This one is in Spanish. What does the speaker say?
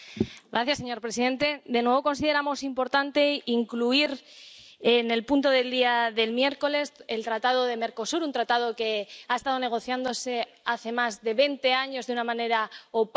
Señor presidente, de nuevo consideramos importante incluir, como punto en el orden del día del miércoles, el tratado del Mercosur, un tratado que ha estado negociándose desde hace más de veinte años de una manera opaca